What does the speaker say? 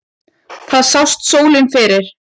Þar sást sólin fyrr.